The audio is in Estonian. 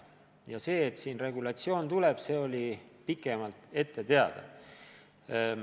Et sellekohane regulatsioon tuleb, oli pikemalt ette teada.